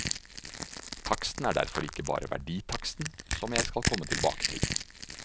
Taksten er derfor ikke bare verditaksten, som jeg skal komme tilbake til.